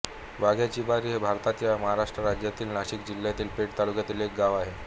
वाघ्याचीबारी हे भारताच्या महाराष्ट्र राज्यातील नाशिक जिल्ह्यातील पेठ तालुक्यातील एक गाव आहे